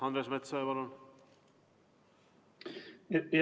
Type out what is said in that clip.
Andres Metsoja, palun!